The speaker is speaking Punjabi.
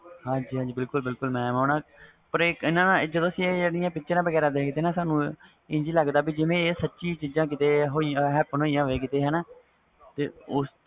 ਬਿਲਕੁਲ ਬਿਲਕੁਲ mam ਜਦੋ ਅਸੀਂ ਇਹਦੀਆਂ picture ਵਗੈਰਾ ਦੇਖ ਦੇ ਵ ਇੰਝ ਲੱਗਦਾ ਜਿਵੇ ਇਹ ਸੱਚੀ ਚੀਜ਼ਾਂ ਜਿਵੇ happen ਹੋਇਆ ਹੋਵੇ ਜਿਵੇ